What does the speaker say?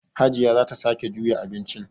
Hajiya za ta sake juya abincin.